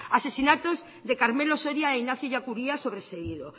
asesinatos de carmelo soria e ignacio ellacuría sobreseído